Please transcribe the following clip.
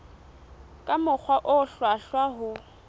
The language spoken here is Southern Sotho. ka mokgwa o hlwahlwa ho